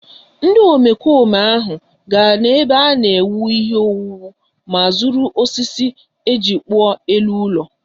Ndị omekome ahụ gara n’ebe a na-ewu ihe owuwu ma zuru osisi e ji kpụọ elu ụlọ